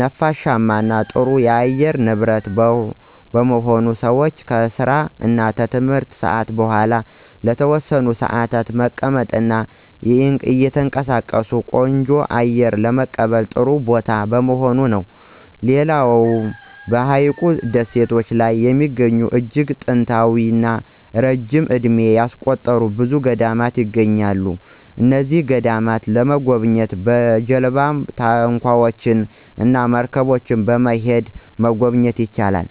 ነፋሻማ እና ጥሩ የአየር ንብረት በመሆኑ ሰወች ከስራ እና ትምህርት ሰአት በኋላ ለተወሰነ ሰአታት በመቀመጥ እና እየተንቀሳቀሱ ቆንጆ አየር ለመቀበል ጥሩ ቦታ በመሆኑ ነው። ሌላው በሀይቁ ደሴቶች ላይ የሚገኙ እጅግ ጥንታዊ እና ረጅም እድሜ ያስቆጠሩ ብዙ ገዳማት ይገኛሉ። እነዚህን ገዳማት ለመጎብኘት በጀልባወች፣ ታንኳወች እና መርገቦች በመሄድ መጎብኘት ይቻላል።